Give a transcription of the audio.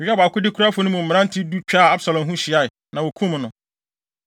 Yoab akodekurafo no mu mmerante du twaa Absalom ho hyiae, na wokum no.